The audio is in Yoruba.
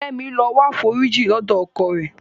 Kẹ́mi lọ wáforíjì lọ́dọ̀ ọkọ rẹ̀.